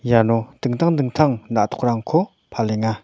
iano dingtang dingtang na·tokrangko palenga.